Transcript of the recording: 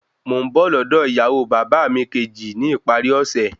Mò ń bọ̀ lọ́dọ̀ ìyàwó bàbá mi kejì ní ìparí ọ̀sẹ̀